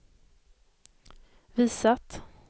visat